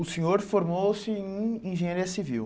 O senhor formou-se em engenharia civil.